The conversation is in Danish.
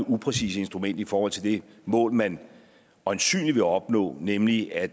upræcist instrument i forhold til det mål man øjensynlig vil opnå nemlig at